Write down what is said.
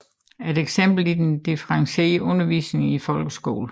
Et eksempel er den differentierede undervisning i folkeskolen